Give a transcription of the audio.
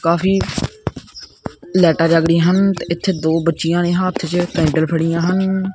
ਕਾਫੀ ਲਾਈਟਾਂ ਜਗ ਰਹੀਆਂ ਹਨ ਤੇ ਇਥੇ ਦੋ ਬੱਚੀਆਂ ਨੇ ਹੱਥ ਚ ਕੈਂਡਲ ਫੜੀਆਂ ਹਨ।